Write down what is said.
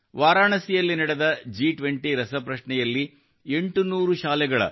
ವಾರಣಾಸಿಯಲ್ಲಿ ನಡೆದ ಜಿ20 ರಸಪ್ರಶ್ನೆಯಲ್ಲಿ 800 ಶಾಲೆಗಳ 1